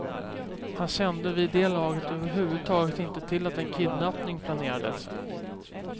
Han kände vid det laget överhuvudtaget inte till att en kidnappning planerades.